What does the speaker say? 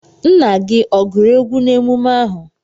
Nna gi oguru egwu na emume ahu?